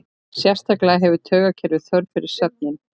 Sérstaklega hefur taugakerfið þörf fyrir svefninn.